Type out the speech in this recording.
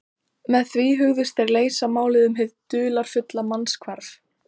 Með því hugðust þeir leysa málið um hið dularfulla mannshvarf.